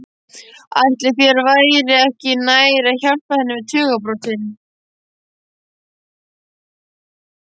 Ætli þér væri ekki nær að hjálpa henni við tugabrotin?